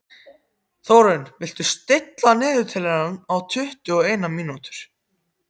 Þórunn, stilltu niðurteljara á tuttugu og eina mínútur.